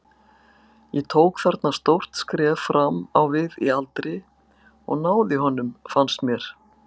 Ég tók þarna stórt skref fram á við í aldri og náði honum fannst mér.